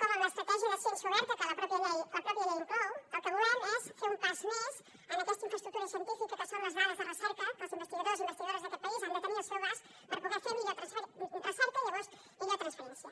com en l’estratègia de ciència oberta que la pròpia llei inclou el que volem és fer un pas més en aquesta infraestructura científica que són les dades de recerca que els investigadors i investigadores d’aquest país han de tenir al seu abast per poder fer recerca i llavors millor transferència